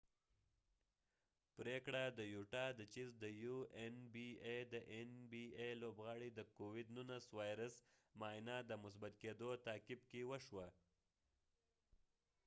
د این بی ای nba پریکړه د یوټا د چېز د یو لوبغاړی د کوويد 19 وایرس معاینه د مثبت کېدو تعقیب کې وشوه